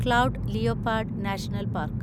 cloud leopard national park